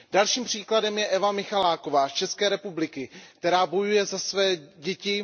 Další příkladem je Eva Michaláková z České republiky, která bojuje za své děti.